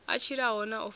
a tshilaho na o faho